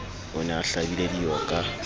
o ne a hlabile dioka